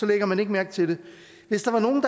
lægger man ikke mærke til det hvis der var nogen